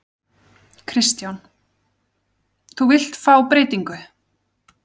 Kristján: Þú vilt fá breytingu?